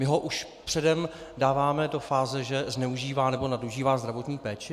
My ho už předem dáváme do fáze, že zneužívá nebo nadužívá zdravotní péči?